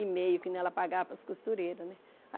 E meio que nem ela pagava para as costureiras, né?